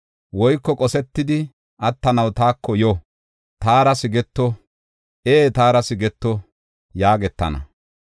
Woyko qosetidi attanaw taako yo; taara sigeto; ee, taara sigeto” yaagetana.